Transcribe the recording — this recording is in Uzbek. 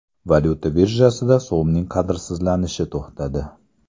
Valyuta birjasida so‘mning qadrsizlanishi to‘xtadi.